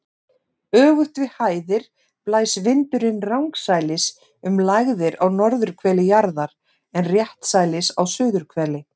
Öfugt við hæðir blæs vindurinn rangsælis um lægðir á norðurhveli jarðar en réttsælis á suðurhveli.